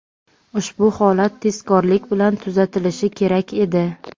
ushbu holat tezkorlik bilan tuzatilishi kerak edi.